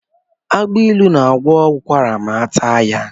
Agbailu na-agwọ ụkwara ma ataa ya.